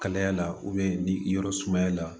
Kalaya la ni yɔrɔ sumaya la